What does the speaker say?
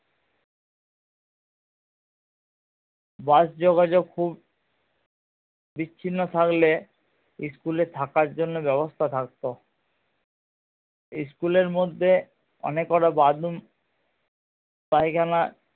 বাস যোগাযোগ খুব বিচ্ছিন্ন থাকলে school এ থাকার জন্যে ব্যাবস্থা থাকতো school এর মধ্যে অনেক কটা bathroom পায়খানা